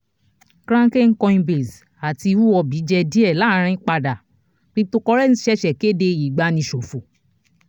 kraken coinbase àti huobi jẹ díẹ̀ láàrín padà cryptocurrency ṣẹ̀ṣẹ̀ kéde ìgbani ṣòfò